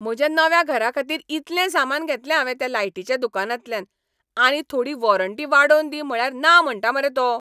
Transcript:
म्हज्या नव्या घराखातीर इतलें सामान घेतलें हावें त्या लायटीच्या दुकानांतल्यान. आनी थोडी वॉरंटी वाडोवन दी म्हळ्यार ना म्हणटा मरे तो.